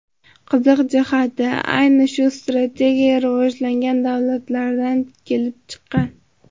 Qiziq jihati, ayni shu strategiya rivojlangan davlatlardan kelib chiqqan.